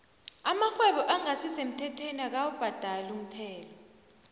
amarhwebo engasi semthethweni dkawu bhadali umthelo